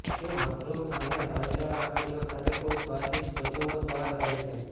તે મશરૂમ્સ અને કરચલા લાકડીઓ સાથે ખૂબ સ્વાદિષ્ટ કચુંબર બહાર કરે છે